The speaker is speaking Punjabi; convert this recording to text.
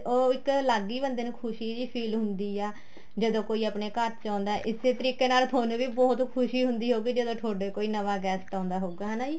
ਉਹ ਇੱਕ ਅਲੱਗ ਹੀ ਬੰਦੇ ਨੂੰ ਖੁਸ਼ੀ ਜੀ feel ਹੁੰਦੀ ਆ ਜਦੋਂ ਕੋਈ ਆਪਣੇ ਘਰ ਚ ਆਉਦਾ ਇਸੇ ਤਰੀਕ਼ੇ ਨਾਲ ਤੁਹਾਨੂੰ ਵੀ ਬਹੁਤ ਖੁਸ਼ੀ ਹੁੰਦੀ ਹੋਵੇਗੀ ਜਦੋਂ ਤੁਹਾਡੇ ਕੋਈ ਨਵਾਂ guest ਆਉਦਾ ਹੋਉਗਾ ਹਨਾ ਜੀ